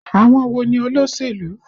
Àwọn wo ni olóṣèlú?